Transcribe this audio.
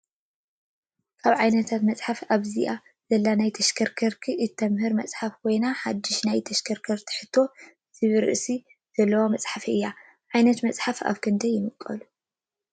ካብ ዓይነታት መፅሓፍቲ ኣብዚ ዘለው ናይ ተሽከርከርቲ እተምህር መፅሓፍ ኮይና ሓዱሽ ናይ ተሽከርከርቲ ሕቶ ዝብል ርእሲ ዘለዋ መፀሓፍ እያ። ዓይነታት መፅሓፍቲ ኣብ ክንዳይ ይምቀሉ ?